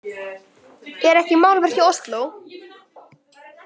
Er ekki málverk í Osló?